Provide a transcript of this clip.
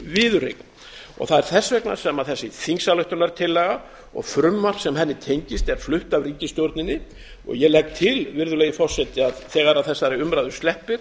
viðureign það er þess vegna sem þessi þingsályktunartillaga og frumvarp sem henni tengist er flutt af ríkisstjórninni og ég legg til virðulegi forseti að þegar þessari umræðu sleppir